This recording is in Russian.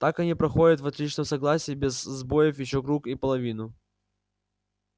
так они проходят в отличном согласии без сбоёв ещё круг и половину